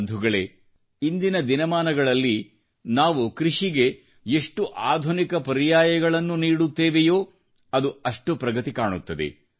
ಬಂಧುಗಳೇ ಇಂದಿನ ದಿನಮಾನಗಳಲ್ಲಿ ನಾವು ಕೃಷಿಗೆ ಎಷ್ಟು ಅತ್ಯಾಧುನಿಕ ಸ್ಪರ್ಶ ನೀಡುತ್ತೇವೆಯೋ ಅದು ಅಷ್ಟು ಪ್ರಗತಿ ಕಾಣುತ್ತೇವೆ